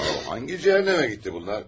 Yaxud hansı cəhənnəmə getdi bunlar?